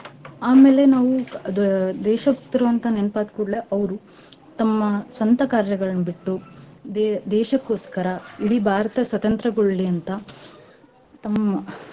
ಆಮೇಲೆ ನಾವೂ ಕ~ ದ~ ದೇಶಭಕ್ತರು ಅಂತ ನೆನ್ಪ ಆದ್ಕೂಡ್ಲೇ ಅವ್ರು ತಮ್ಮ ಸ್ವಂತ ಕಾರ್ಯಗಳ್ನ್ ಬಿಟ್ಟು ದೇ~ ದೇಶಕ್ಕೋಸ್ಕರ ಇಡೀ ಭಾರತ ಸ್ವತಂತ್ರ್ಯಗೊಳ್ಳಲಿ ಅಂತಾ ತಮ್ಮ.